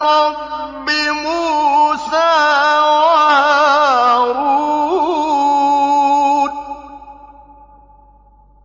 رَبِّ مُوسَىٰ وَهَارُونَ